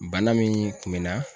Bana min kun me n na